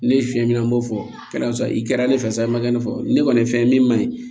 Ne ye fiyɛli an b'o fɔ lasɔrɔ i kɛra ne fɛ sa ye i ma kɛ ne fɔ ne kɔni ye fɛn ye min man ɲi